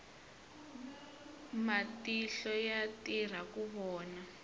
matihlo ya tirha ku vona